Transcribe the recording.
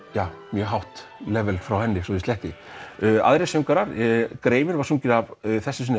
mjög hátt level frá henni svo ég sletti greifinn var sunginn að þessu sinni